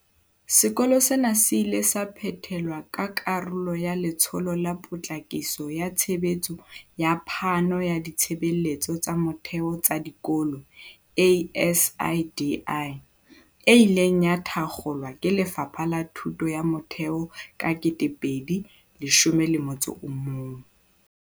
Sekolo sena se ile sa phethelwa ka karolo ya Letsholo la Potlakiso ya Tshebetso ya Phano ya Ditshebeletso tsa Motheo tsa Dikolo ASIDI, e ileng ya thakgolwa ke Lefapha la Thuto ya Motheo ka 2011.